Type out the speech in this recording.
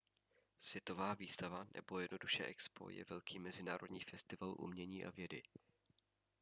světová výstava nebo jednoduše expo je velký mezinárodní festival umění a vědy